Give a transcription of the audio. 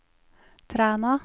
Træna